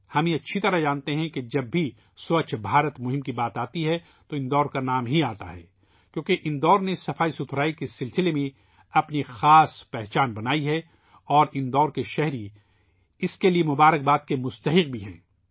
ہم اچھی طرح جانتے ہیں کہ جب بھی سووچھ بھارت ابھیان کی بات آتی ہے تو اندور کا نام سامنے آتا ہے کیونکہ اندور نے صفائی کے حوالے سے ایک خاص پہچان بنائی ہے اور اندور کے شہری اس کے لیے مبارکباد کے مستحق ہیں